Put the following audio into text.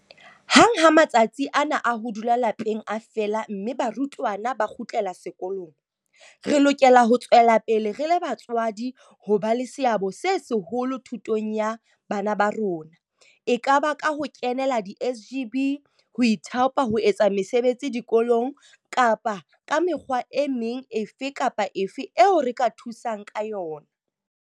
Hang ha matsatsi ana a ho dula lapeng a fela mme barutwana ba kgutlela sekolong, re lokela ho tswela pele re le batswadi ho ba le seabo se seholo thutong ya bana ba rona, ekaba ka ho kenela di-SGB, ho ithaopa ho etsa mesebetsi dikolong kapa ka mekgwa e meng efe kapa efe eo re ka thusang ka yona.